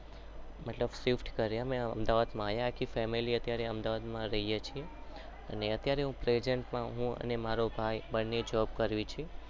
મતલબ અમે અમદાવાદ માં આવ્યા મતલબ